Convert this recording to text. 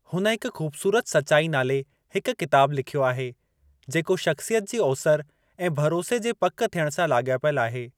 हुन हिक ख़ूबसूरत सचाई नाले हिकु किताबु लिख्यो आहे जेको शख़्सियत जी ओसरि ऐं भरोसे जे पकि थियणु सां लाॻापियलु आहे।